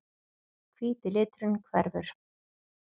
Hvíti liturinn hverfur.